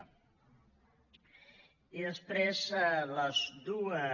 i després les dues